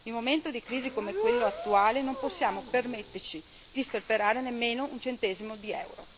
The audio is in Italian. In un momento di crisi come quello attuale non possiamo permetterci di sperperare nemmeno un centesimo di euro.